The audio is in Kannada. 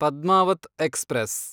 ಪದ್ಮಾವತ್ ಎಕ್ಸ್‌ಪ್ರೆಸ್